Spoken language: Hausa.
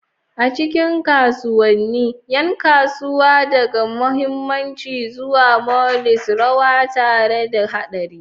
A cikin kasuwannin, yan kasuwa, daga mahammaci zuwa moguls, rawa tare da hadarin.